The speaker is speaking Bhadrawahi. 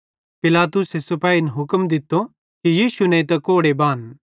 पिलातुसे सिपेहिन हुक्म दित्तो कि यीशु नेइतां कोड़े बान